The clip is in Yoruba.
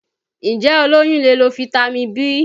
Ǹjẹ́ olóyún lè lo Fitami B?